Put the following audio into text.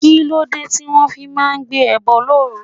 Kí ló dé tí wọ́n fi máa ń gbé ẹbọ looru?